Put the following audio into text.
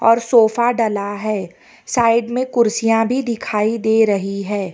और सोफा डला है साइड में कुर्सियां भी दिखाई दे रही है।